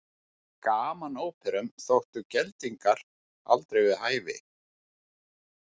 Í gamanóperum þóttu geldingar aldrei við hæfi.